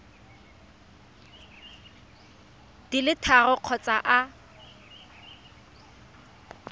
di le tharo kgotsa a